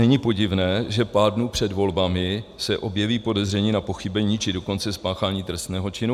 Není podivné, že pár dnů před volbami se objeví podezření na pochybení, či dokonce spáchání trestného činu?